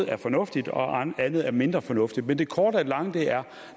er fornuftigt og andet er mindre fornuftigt men det korte af det lange er